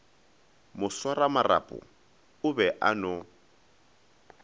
moswaramarapo o be a no